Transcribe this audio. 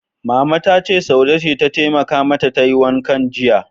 Mama ta ce, Saude ce ta taimaka mata tayi wankan jiya.